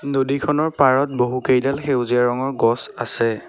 নদীখনৰ পাৰত বহুকেইডাল সেউজীয়া ৰঙৰ গছ আছে।